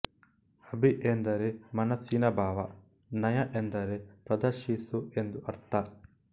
ಅಭಿ ಎಂದರೆ ಮನಸ್ಸಿನ ಭಾವ ನಯ ಎಂದರೆ ಪ್ರದರ್ಶಿಸು ಎಂದು ಅರ್ಥ